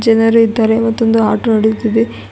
ಜನರು ಇದ್ದಾರೆ ಮತ್ತೊಂದು ಆಟೋ ನಡೆಯುತ್ತಿದೆ.